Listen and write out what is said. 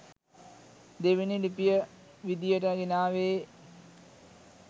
දෙවනි ලිපිය විදියට ගෙනාවේ